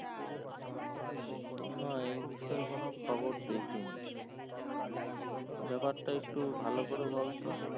না এই বিষয়ে কোনো খবর দেখিনি ব্যাপারটা একটু ভালো করে বলতো